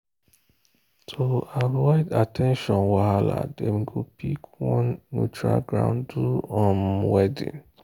to avoid tradition wahala dem go pick one neutral ground do um wedding.